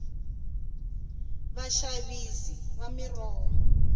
vaxavisi va miroho